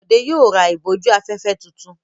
Bọ̀dé yóò ra ìbòjú-afẹ́fẹ́ tuntun.